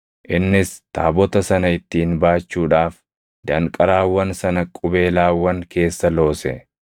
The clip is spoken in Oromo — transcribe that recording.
Innis taabota sana ittiin baachuudhaaf danqaraawwan sana qubeelaawwan keessa loose.